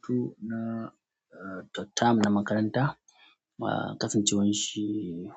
Hutu na, eh, third term na makaranta. Eh, kasan ce wanshi